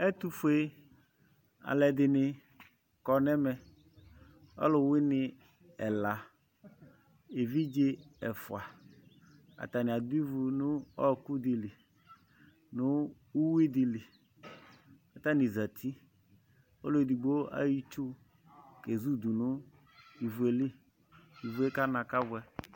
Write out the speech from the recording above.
Ɛtufue aluɛdini kɔ nɛmɛ ɔluwini ɛla evidze ɛfua atani adu ivu nu ɔku nu uyui dili katani zati ɔluedigbo ayɔ itsu kezu du nu ivue li ivue kana kɔbuɛ